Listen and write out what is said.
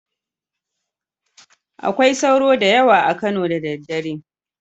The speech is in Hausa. Akwai sauro da yawa a Kano da daddare